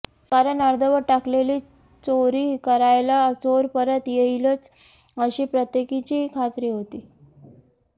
कारण अर्धवट टाकलेली चोरी करायला चोर परत येईलच अशी प्रत्येकीची खात्री होती